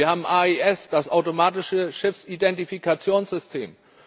Wir haben AIS, das automatische Schiffsidentifikationssystem.